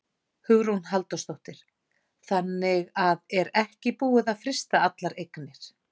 Hugrún Halldórsdóttir: Þannig að er ekki búið að frysta allar eignir?